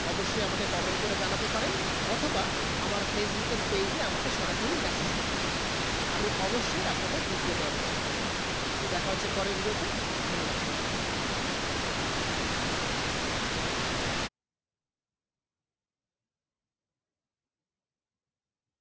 অবসয়ে আমাকে comment করে জানাতে পারেন অথবা আমার facebook এর page এ আমাকে সরাসরি message করতে পারে আমি অবসয়ে আপনাদের reply দেবা চেষ্টা করবো সো দেখা হচ্ছে পরে video তে ধন্যবাদ সবাইকে।